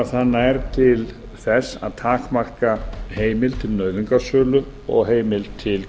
og það nær til þess að takmarka heimild til nauðungarsölu og heimild til